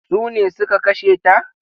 Sune suka kashe ta?